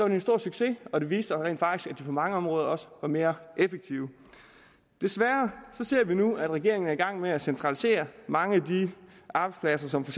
det en stor succes og det viste sig rent faktisk at de på mange områder også var mere effektive desværre ser vi nu at regeringen er i gang med at centralisere mange af de arbejdspladser som for